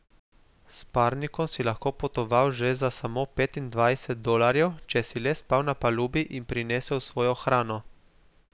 S parnikom si lahko potoval že za samo petindvajset dolarjev, če si le spal na palubi in prinesel svojo hrano.